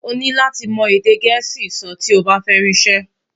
oní láti mọ èdè gèésì sọ ti ọ bá fẹ ri isẹ